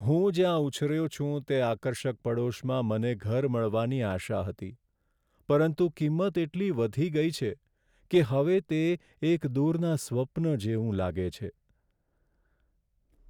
હું જ્યાં ઉછર્યો છું તે આકર્ષક પડોશમાં મને ઘર મળવાની આશા હતી, પરંતુ કિંમત એટલી વધી ગઈ છે કે હવે તે એક દૂરના સ્વપ્ન જેવું લાગે છે.